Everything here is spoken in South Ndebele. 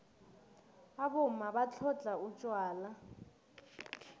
abomma batlhodlha utjwala